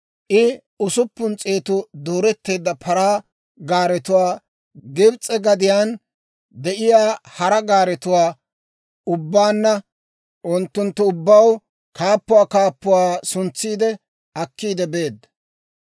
I usuppun s'eetu dooreteedda paraa gaaretuwaa, Gibs'e gadiyaan de'iyaa hara gaaretuwaa ubbaanna, unttunttu ubbaw kaappuwaa kaappuwaa suntsiide akkiide beedda.